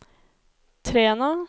Træna